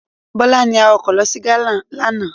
Bọlá ní awakọ̀ lọ sí Ghana lánàá.